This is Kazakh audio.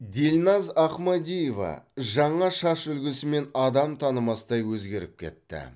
дильназ ахмадиева жаңа шаш үлгісімен адам танымастай өзгеріп кетті